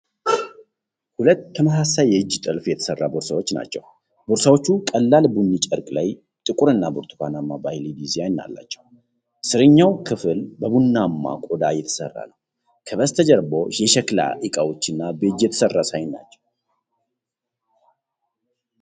ሁለት ተመሳሳይ የእጅ ጥልፍ የተሰራ ቦርሳዎች ናቸው። ቦርሳዎቹ ቀላል ቡኒ ጨርቅ ላይ ጥቁርና ብርቱካናማ ባህላዊ ዲዛይን አላቸው። ስርኛው ክፍል በቡናማ ቆዳ የተሰራ ነው። ከበስተጀርባ የሸክላ ዕቃዎችና በእጅ የተሠራ ሳህን ናቸው።